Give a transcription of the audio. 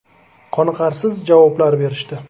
Qoniqarsiz javoblar berishdi.